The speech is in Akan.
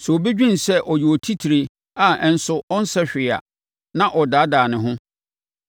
Sɛ obi dwene sɛ ɔyɛ otitire a ɛnso ɔnsɛ hwee a, na ɔdaadaa ne ho.